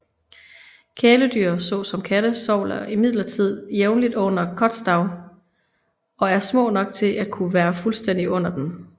Kæledyr så som katte sover imidlertid jævnligt under kotatsu og er små nok til at kunne være fuldstændig under den